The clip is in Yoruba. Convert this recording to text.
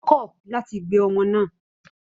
Ó kọ̀ láti gbé ọmọ náà